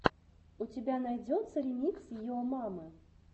у тебя найдется ремикс йо мамы